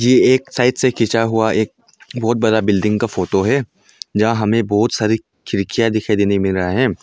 ये एक साइड से खींचा हुआ एक बहोत बड़ा बिल्डिंग का फोटो है जहां हमें बहुत सारी खिड़कियां दिखाई देने मिल रहा है।